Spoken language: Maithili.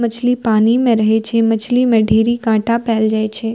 मछली पानी में रही छी मछली में ढेरी कांटा फ़ैल जेइ छै।